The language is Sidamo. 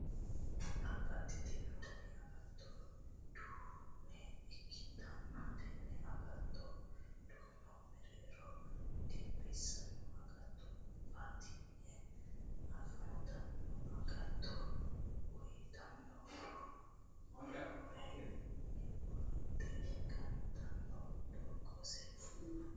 Babbaxitino dani agatto duun ikkitanna tenne agattoote duuno mereero dinbissanno agattono batinyunni afantanno. Agatto uyitanno horonni roore mwoxe gantanno doogose bacate.